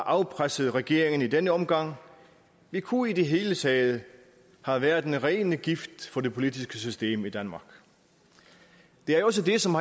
afpresset regeringen i denne omgang vi kunne i det hele taget have været den rene gift for det politiske system i danmark det er jo også det som